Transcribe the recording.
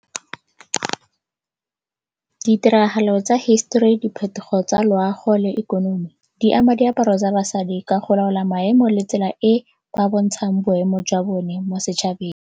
Ditiragalo tsa history, diphetogo tsa loago le ikonomi di ama diaparo tsa basadi ka go laola maemo le tsela e ba bontshang boemo jwa bone mo setšhabeng.